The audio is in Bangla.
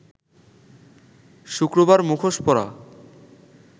শুক্রবার মুখোশ পরা